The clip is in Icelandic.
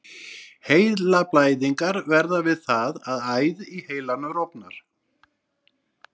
Heilablæðingar verða við það að æð í heilanum rofnar.